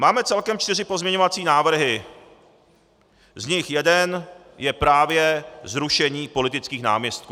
Máme celkem čtyři pozměňovací návrhy, z nich jeden je právě zrušení politických náměstků.